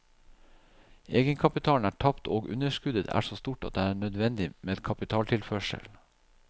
Egenkapitalen er tapt og underskuddet er så stort at det er nødvendig med kapitaltilførsel.